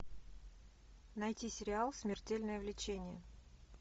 найти сериал смертельное влечение